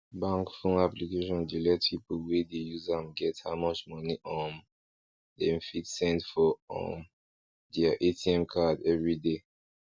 bank fone application dey let people wey dey use am get how much moni um dem fit send for um dere atm card everyday